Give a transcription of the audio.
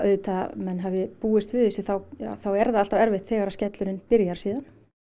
menn hafi búist við þessu þá er það alltaf erfitt þegar skellurinn byrjar síðan